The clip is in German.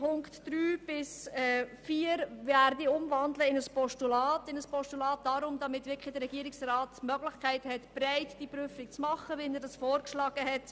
Punkt 3 und 4 wandle ich in ein Postulat, damit der Regierungsrat wirklich die Möglichkeit erhält, diese Überprüfung breit vorzunehmen, wie er es vorgeschlagen hat.